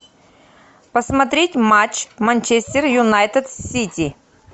посмотреть матч манчестер юнайтед сити